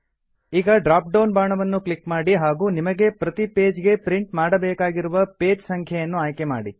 ಈಗ drop down ಬಾಣವನ್ನು click ಮಾಡಿ ಹಾಗೂ ನಿಮಗೆ ಪ್ರತಿ ಪೇಜ್ ಗೆ ಪ್ರಿಂಟ್ ಮಾಡಬೇಕಿರುವ ಪೇಜ್ ಸಂಖ್ಯೆಯನ್ನು ಆಯ್ಕೆ ಮಾಡಿ